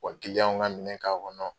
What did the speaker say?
Wa ka minɛn k'a kɔnɔ